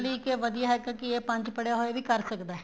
ਲਈ ਇੱਕ ਵਧੀਆ ਹੈਗਾ ਕੀ ਇਹ ਪੰਜ ਪੜਿਆ ਹੋਇਆ ਇਹ ਵੀ ਕਰ ਸਕਦਾ ਏ